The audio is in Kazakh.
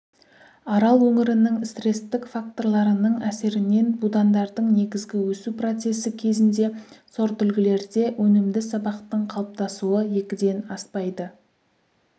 арал өңірінің стрестік факторларының әсерінен будандардың негізгі өсу процесі кезінде сортүлгілерде өнімді сабақтың қалыптасуы екіден аспайды